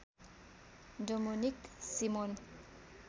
Dominic Simon